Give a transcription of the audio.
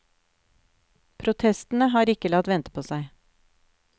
Protestene har ikke latt vente på seg.